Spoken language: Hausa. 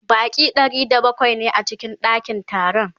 Baƙi Ɗari da bakwai ne a cikin ɗakin taron